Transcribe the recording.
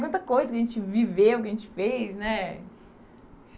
Quanta coisa que a gente viveu, que a gente fez, né?